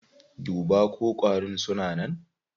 Duba ko ƙwarin suna nan.